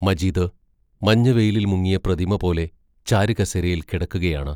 മജീദ് മഞ്ഞവെയിലിൽ മുങ്ങിയ പ്രതിമപോലെ ചാരുകസേരയിൽ കിടക്കുകയാണ്.